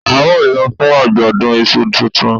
A n lọ fún ajọdun ìṣù tuntun